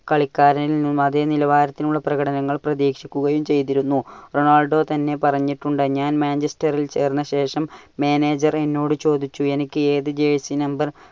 കളിക്കാരിൽ നിന്നും അതെ നിലവാരത്തിലുള്ള പ്രകടനങ്ങൾ പ്രതീക്ഷിക്കുകയും ചെയ്തിരുന്നു. റൊണാൾഡോ തന്നെ പറഞ്ഞിട്ടുണ്ട് ഞാൻ Manchester ൽ ചേർന്ന ശേഷം manager എന്നോട് ചോദിച്ചു എനിക്ക് ഏതു jersey number